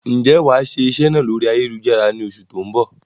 Ń jẹ́ wá wà iṣẹ́ náà lórí ayélujára ni oṣù tó ń bọ̀?